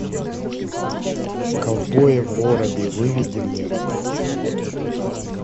ковбои в городе выведи мне